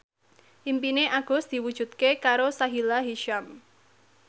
impine Agus diwujudke karo Sahila Hisyam